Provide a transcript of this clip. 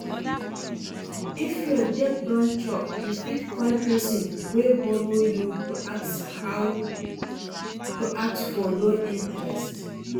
If your debt don choke, you fit call person wey borrow you to ask for low interest